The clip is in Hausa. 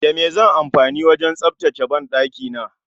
Da me zanyi amfani wajen tsaftace banɗakina?